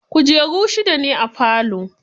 Kujeru shida ne a falo.